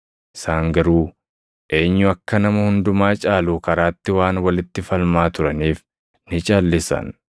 Isaan garuu eenyu akka nama hundumaa caalu karaatti waan walitti falmaa turaniif ni calʼisan.